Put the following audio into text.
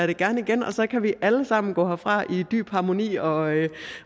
det gerne igen og så kan vi alle sammen gå herfra i dyb harmoni og